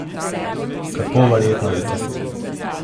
Kako verjetno je to?